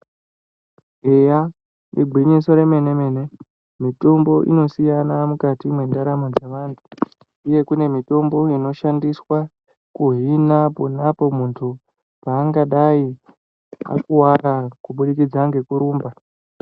Eya igwinyiso remene- mene mitombo inosiyana mukati mendaramo dzevantu ,uyo kune mitombo inoshandiswa kuhina pangadai akuwara kuburikidza ngekurumba .